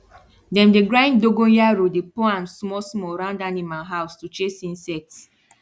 dem dey grind dogonyaro den pour am small small round animal house to chase insects